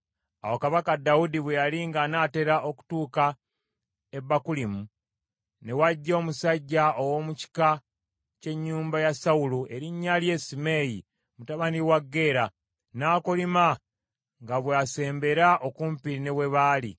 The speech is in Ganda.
Awo kabaka Dawudi bwe yali ng’anaatera okutuuka e Bakulimu ne wajja omusajja ow’omu kika ky’ennyumba ya Sawulo erinnya lye Simeeyi mutabani wa Gera; n’akolima nga bw’asembera okumpi ne we baali.